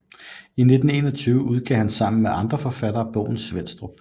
I 1921 udgav han sammen med andre forfattere bogen Svenstrup